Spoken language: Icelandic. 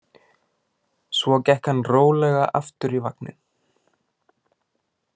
Svo gekk hann rólega aftur í vagninn.